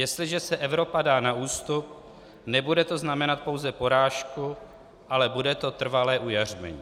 Jestliže se Evropa dá na ústup, nebude to znamenat pouze porážku, ale bude to trvalé ujařmení!"